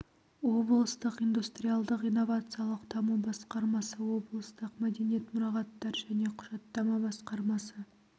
облыстық индустриялдық-инновациялық даму басқармасы облыстық мәдениет мұрағаттар және құжаттама басқармасы